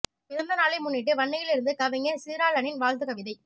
பிறந்த நாளை முன்னிட்டு வன்னியில் இருந்து கவிஞர் சீராளனின் வாழ்த்துக் கவிதை